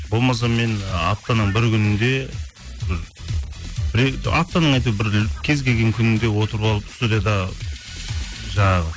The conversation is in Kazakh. болмаса мен аптаның бір күнінде аптаның әйтеуір бір кез келген күнінде отырып алып студияда жаңағы